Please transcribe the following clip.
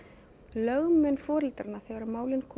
lögmenn foreldranna þegar málin koma